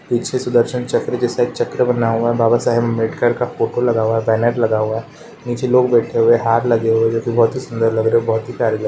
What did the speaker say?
पीछे सुदर्शन चक्र के जैसा चक्र बना हुआ है। बाबा साहैब आंबेडकर का फोटो लगा हुआ है। बैनर लगा हुआ है। नीचे लोग बैठे हुए है हार लगे हुए है जोकि बहोत ही सुन्दर लग रहे है। बहोत ही प्यारे लग रहे है।